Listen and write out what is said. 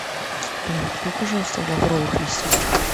блин купи пожалуйста лавровых листьев